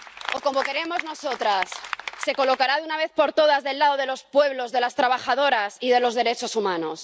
O, como queremos nosotras, ¿se colocará de una vez por todas del lado de los pueblos, de las trabajadoras y de los derechos humanos?